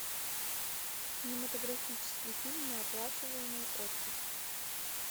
кинематографический фильм неоплачиваемый отпуск